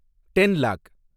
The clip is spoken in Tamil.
ten lock